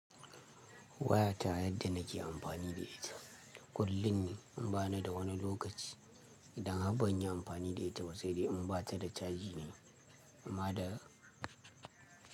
Wayata yadda nake amfani da ita, kullun ne in ba na da wani lokaci. Idan har ban yi amfani da ita ba sai dai in ba ta da caji ne, amma da.